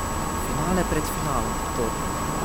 Finale pred finalom, torej.